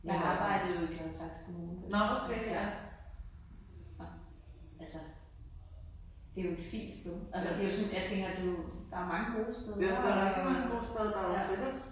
Jeg arbejde jo i Gladsaxe Kommune på et tidspunkt ja og altså det jo et fint sted altså det jo sådan jeg tænker du der er mange gode steder og